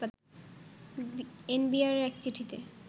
NBR এক চিঠিতে